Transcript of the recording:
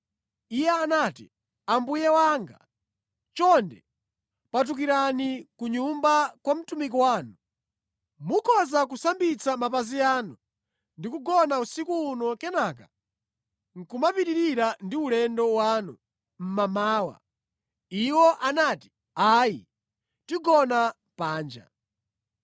Iye anati, “Ambuye wanga, chonde patukirani ku nyumba kwa mtumiki wanu. Mukhoza kusambitsa mapazi anu ndi kugona usiku uno kenaka nʼkumapitirira ndi ulendo wanu mmamawa.” Iwo anati, “Ayi, tigona panja.”